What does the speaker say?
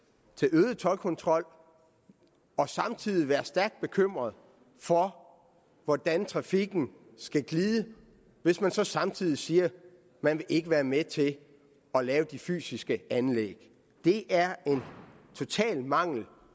øget toldkontrol og samtidig være stærkt bekymret for hvordan trafikken skal glide hvis man så samtidig siger at man ikke vil være med til at lave de fysiske anlæg det er en total mangel